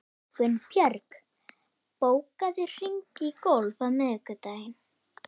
Gunnbjörg, bókaðu hring í golf á miðvikudaginn.